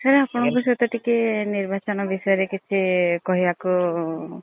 sir ଆପଣଙ୍କ ସହିତ ଟିକେ ନିର୍ବାଚନ ବିଷୟ ରେ କିଛି କହିବାକୁ